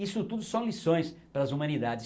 Isso tudo são lições para as humanidades.